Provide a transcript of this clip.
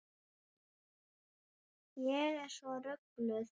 Ég er svo rugluð.